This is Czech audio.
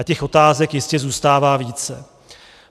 A těch otázek jistě zůstává více.